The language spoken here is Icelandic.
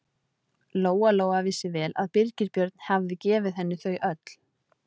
Lóa-Lóa vissi vel að Birgir Björn hafði gefið henni þau öll.